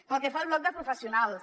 pel que fa al bloc de professionals